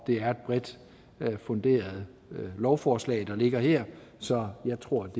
det er et bredt funderet lovforslag der ligger her så jeg tror